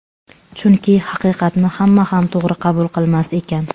Chunki haqiqatni hamma ham to‘g‘ri qabul qilmas ekan.